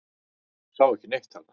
Sá ekki neitt þarna.